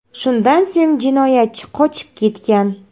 Shundan so‘ng jinoyatchi qochib ketgan.